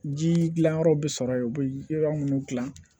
Ji dilanyɔrɔ bi sɔrɔ yen u bɛ yɔrɔ minnu dilan